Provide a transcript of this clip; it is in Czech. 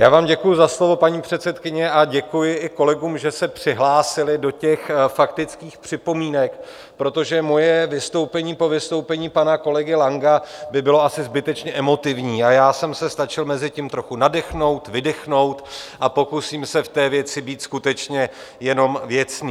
Já vám děkuji za slovo, paní předsedkyně, a děkuji i kolegům, že se přihlásili do těch faktických připomínek, protože moje vystoupení po vystoupení pana kolegy Langa by bylo asi zbytečně emotivní a já jsem se stačil mezitím trochu nadechnout, vydechnout a pokusím se v té věci být skutečně jenom věcný.